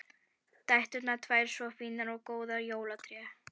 Dæturnar tvær svo fínar og góðar og jólatréð!